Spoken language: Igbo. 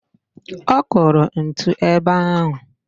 Ọ kụrụ ntu ebe ahụ